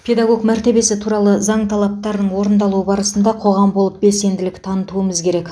педагог мәртебесі туралы заң талаптарының орындалуы барысында қоғам болып белсенділік танытуымыз керек